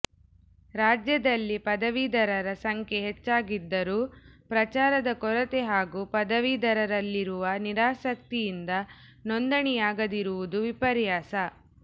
ರಾಜ್ಯದಲ್ಲಿ ಪದವೀಧರರ ಸಂಖ್ಯೆ ಹೆಚ್ಚಾಗಿದ್ದರೂ ಪ್ರಚಾರದ ಕೊರತೆ ಹಾಗೂ ಪದವೀಧರರಲ್ಲಿರುವ ನಿರಾಸಕ್ತಿಯಿಂದ ನೋಂದಣಿಯಾಗದಿರುವುದು ವಿಪರ್ಯಾಸ